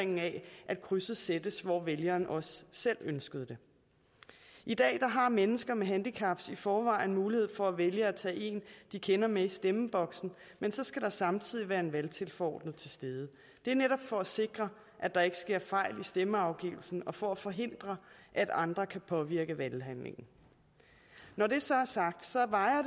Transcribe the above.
at krydset sættes hvor vælgeren også selv ønskede det i dag har mennesker med handicap i forvejen mulighed for at vælge at tage en de kender med i stemmeboksen men så skal der samtidig være en valgtilforordnet til stede det er netop for at sikre at der ikke sker fejl i stemmeafgivelsen og for at forhindre at andre kan påvirke valghandlingen når det så er sagt